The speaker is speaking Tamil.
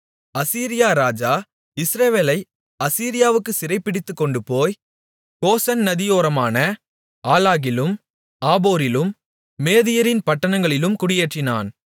அசீரியா ராஜா இஸ்ரவேலை அசீரியாவுக்குச் சிறைபிடித்துக்கொண்டுபோய் கோசான் நதியோரமான ஆலாகிலும் ஆபோரிலும் மேதியரின் பட்டணங்களிலும் குடியேற்றினான்